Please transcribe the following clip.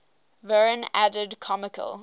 verne added comical